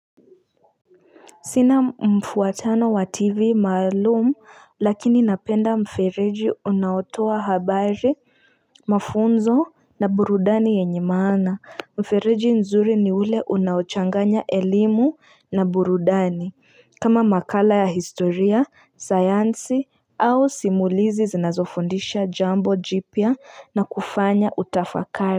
Sina mfuatano wa tv maalumu lakini napenda mfereji unaotowa habari mafunzo na burudani yenye maana Mfereji nzuri ni ule unaochanganya elimu na burudani kama makala ya historia, sayansi au simulizi zinazofundisha jambo jipya nakufanya utafakari.